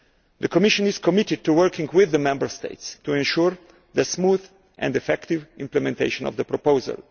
The Commission is committed to working with the Member States to ensure the smooth and effective implementation of the proposal.